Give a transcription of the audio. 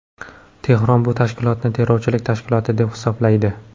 Tehron bu tashkilotni terrorchilik tashkiloti deb hisoblaydi.